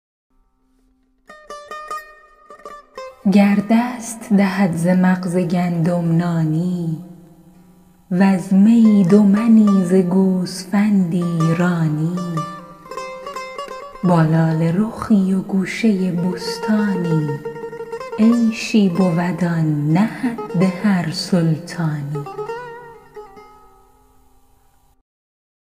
گر دست دهد ز مغز گندم نانی وز می دو منی ز گوسفندی رانی با لاله رخی و گوشه بستانی عیشی بود آن نه حد هر سلطانی